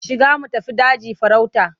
Shiga mu tafi daji farauta.